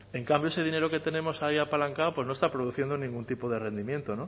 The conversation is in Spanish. en cambio ese dinero que tenemos ahí apalancado pues no está produciendo ningún tipo de rendimiento